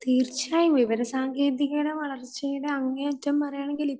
തീർച്ചയായും വിവര സാങ്കേതികതയുടെ വളർച്ചയുടെ അങ്ങേയറ്റം പറയുകയാണെങ്കിൽ